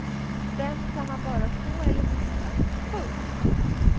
Den kan man bara få eller mista. punkt